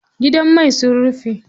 Gidan mai sun rufe.